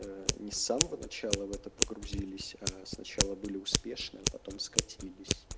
ээ не с самого начала в это погрузились аа сначала были успешны а потом скатились